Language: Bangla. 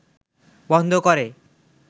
বন্ধ করে